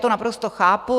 To naprosto chápu.